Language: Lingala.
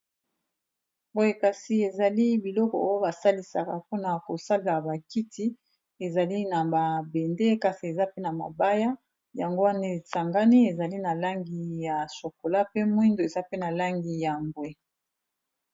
Boye kasi ezali biloko oyo basalisaka mpona kosala ba kiti ezali na ba bende kasi eza pe na mabaya yango wana esangani ezali na langi ya chokola pe mwindo eza pe na langi ya mbwe.